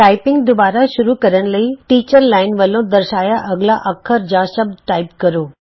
typing ਦੁਬਾਰਾ ਸ਼ੁਰੂ ਕਰਨ ਲਈ ਟੀਚਰ ਅਧਿਆਪਕ ਲਾਈਨ ਵਲੋਂ ਦਰਸਾਇਆ ਅਗਲਾ ਅੱਖਰ ਜਾਂ ਸ਼ਬਦ ਟਾਈਪ ਕਰੋ